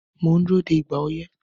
Mò ń dúró de "ìgbà oyẹ́"